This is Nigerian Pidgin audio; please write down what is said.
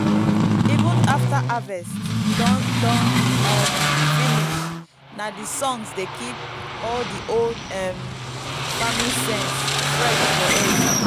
even after harvest don don um finish na the songs dey keep all the old um farming sense fresh for head.